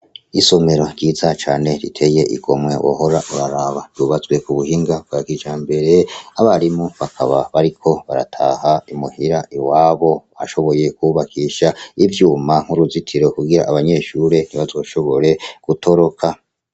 Isomero ryiza cane riteye igomwe wohora uraraba ryubatswe ku buhinga bwa kijambere, abarimu bakaba bariko barataha imuhira iwabo, bashoboye kubakisha ivyuma nk'uruzitiro kugira abanyeshure ntibazoshobore gutoroka.